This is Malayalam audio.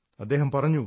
അദ്ദേഹം പറഞ്ഞു